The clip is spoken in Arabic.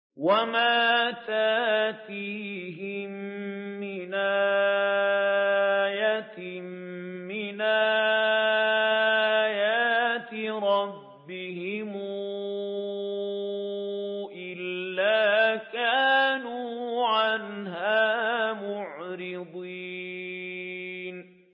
وَمَا تَأْتِيهِم مِّنْ آيَةٍ مِّنْ آيَاتِ رَبِّهِمْ إِلَّا كَانُوا عَنْهَا مُعْرِضِينَ